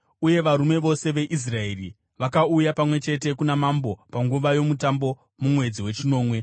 Uye varume vose veIsraeri vakauya pamwe chete kuna mambo panguva yomutambo mumwedzi wechinomwe.